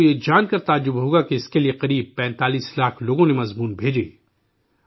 آپ کو یہ جان کر حیرانی ہوگی کہ اس کے لیے تقریباً 45 لاکھ لوگوں نے مضمون بھیجے